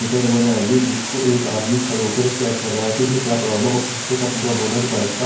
repair होने आई है जिसको एक आदमी खड़े होकर चेक कर रहा है कि इसमें क्या प्रॉब्लम है और पीछे का पूरा बोनट बाइक को--